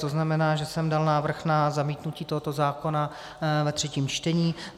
To znamená, že jsem dal návrh na zamítnutí tohoto zákona ve třetím čtení.